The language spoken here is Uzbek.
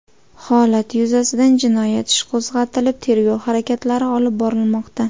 Holat yuzasidan jinoyat ishi qo‘zg‘atilib, tergov harakatlari olib borilmoqda.